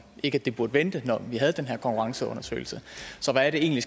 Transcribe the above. ikke det burde vente når vi havde den her konkurrenceundersøgelse så hvad er det egentlig